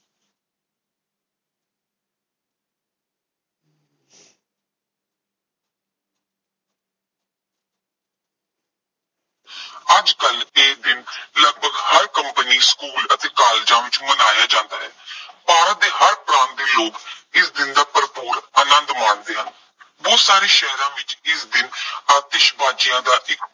ਅੱਜ ਕੱਲ੍ਹ ਇਹ ਦਿਨ ਲਗਭਗ ਹਰ ਕੰਪਨੀ, ਸਕੂਲ ਅਤੇ ਕਾਲਜਾਂ ਵਿੱਚ ਮਨਾਇਆ ਜਾਂਦਾ ਹੈ। ਭਾਰਤ ਦੇ ਹਰ ਪ੍ਰਾਂਤ ਦੇ ਲੋਕ ਇਸ ਦਿਨ ਦਾ ਭਰਪੂਰ ਆਨੰਦ ਮਾਣਦੇ ਹਨ। ਬਹੁਤ ਸਾਰੇ ਸ਼ਹਿਰਾਂ ਵਿੱਚ ਇਸ ਦਿਨ ਆਤਿਸ਼ਬਾਜ਼ੀਆਂ ਦਾ ਇੱਕ